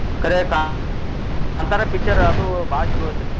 ಕರೆ ಕಾಂತಾರ picture ಅದು ಬಾಳ್ ಚೊಲೋ ಐತ್ರಿ.